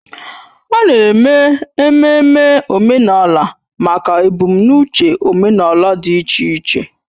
A na-eme ememme omenala maka ebumnuche omenala dị iche iche